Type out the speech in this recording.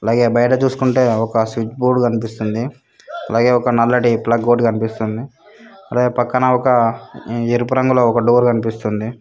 అలాగే పైన చూసుకుంటే ఒక స్విచ్ బోర్డు కనిపిస్తుంది అలాగే ఒక నల్లటి ప్లగ్ కనిపిస్తుంది అలాగే పక్కన ఒక ఎరుపు రంగులో డోర్ కనిపిస్తుంది.